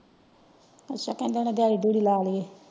ਅੱਛਾ ਕਹਿੰਦੇ ਨੇ ਦਿਹਾੜੀ ਦਿਹੁਦੀ ਲਾ ਲਇਏ।